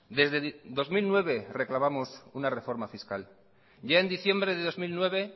desde dos mil nueve reclamamos una reforma fiscal ya en diciembre de dos mil nueve